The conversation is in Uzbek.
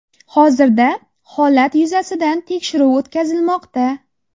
Hozirda holat yuzasidan tekshiruv o‘tkazilmoqda.